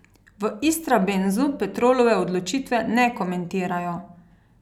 V Istrabenzu Petrolove odločitve ne komentirajo.